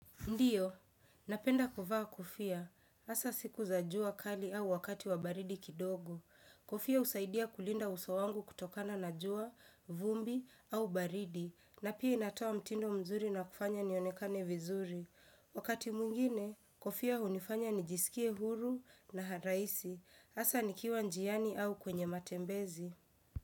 Ndiyo, napenda kuvaa kofia. Asa siku za jua kali au wakati wa baridi kidogo. Kofia usaidia kulinda uso wangu kutokana na jua, vumbi au baridi. Na pia inatoa mtindo mzuri na kufanya nionekane vizuri. Wakati mwingine, kofia hunifanya nijisikie huru na raisi. Asa nikiwa njiani au kwenye matembezi.